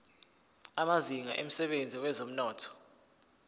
amazinga emsebenzini wezomnotho